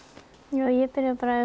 ég byrjaði bara